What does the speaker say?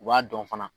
U b'a dɔn fana